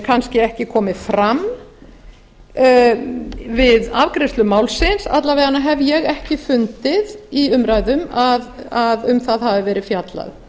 kannski ekki komið fram við afgreiðslu málsins alla vega hef ég ekki fundið í umræðum að um það hafi verið fjallað